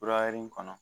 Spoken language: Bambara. Fura yiri in kɔnɔ